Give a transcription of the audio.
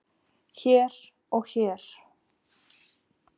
hér og hér